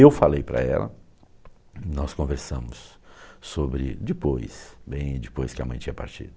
Eu falei para ela, nós conversamos sobre depois, bem depois que a mãe tinha partido.